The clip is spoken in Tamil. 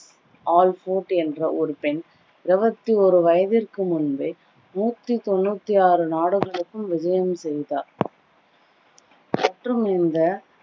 ஆல்போர்ட் என்ற ஒரு பெண் இருவத்தி ஓரு வயதிற்கு முன்பே நூற்றி தொண்ணூத்தி ஆறு நாடுகளுக்கும் விஜயம் செய்தார் மற்றும் இந்த